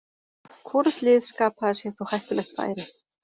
Hvorugt lið skapaði sér þó hættulegt færi.